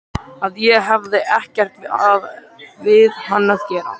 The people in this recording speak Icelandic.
Að ég hefði ekkert við hann að gera.